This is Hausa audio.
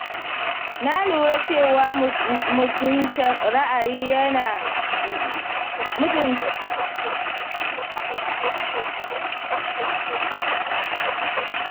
Na lura cewa mutunta ra’ayin yaro yana taimakawa wajen gina amintaka tsakanin iyaye da ‘ya’ya.